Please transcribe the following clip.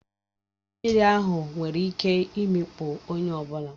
Ọdọ mmiri ahụ nwere ike imikpu onye ọ bụla